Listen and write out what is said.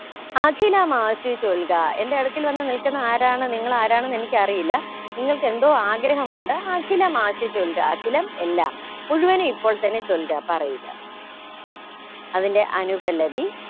അഖിലമാഷി ചൊൽക എന്റെ അടുക്കൽ വന്നു നിൽക്കുന്ന ആരാണ് നിങ്ങൾ ആരാണ് എന്ന് എനിക്ക് അറിയില്ല നിങ്ങൾക്കെന്തോ ആഗ്രഹമുണ്ട് അഖിലമാഷി ചൊൽക അഖിലം എല്ലാം മുഴുവന് ഇപ്പോൾ തന്നെ ചൊല്ക പറയുക അതിന്റെ അനുപല്ലവി